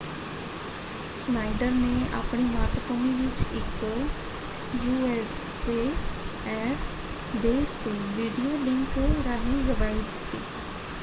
Schneider ਨੇ ਆਪਣੀ ਮਾਤਭੂਮੀ ਵਿੱਚ ਇੱਕ ਯੂਐਸਏਐਫ ਬੇਸ ਤੋਂ ਵੀਡੀਓਲਿੰਕ ਰਾਹੀਂ ਗਵਾਹੀ ਦਿੱਤੀ।